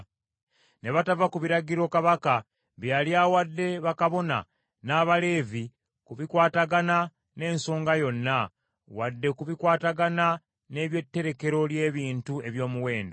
Ne batava ku biragiro kabaka bye yali awadde bakabona, n’Abaleevi ku bikwatagana n’ensonga yonna, wadde ku bikwatagana n’ebyetterekero ly’ebintu eby’omuwendo.